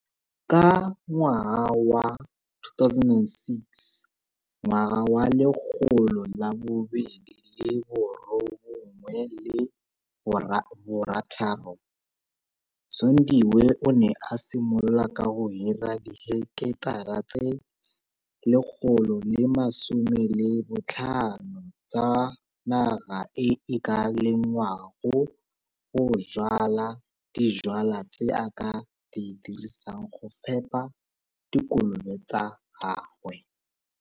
Ka 2006 Zondiwe o ne a simolola ka go hira diheketara tse 115 tsa naga e e ka lengwang go jwala dijwalwa tse a ka di dirisang go fepha dikolobe tsa gagwe.